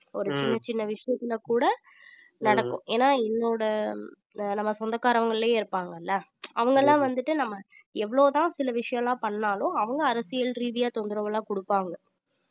ஒரு சின்னச் சின்ன விஷயத்துல கூட நடக்கும் ஏன்னா என்னோட ஆஹ் நம்ம சொந்தக்காரங்களிலேயே இருப்பாங்கல்ல அவங்கெல்லாம் வந்துட்டு நம்ம எவ்வளவுதான் சில விஷயம் எல்லாம் பண்ணாலும் அவங்க அரசியல் ரீதியா தொந்தரவு எல்லாம் குடுப்பாங்க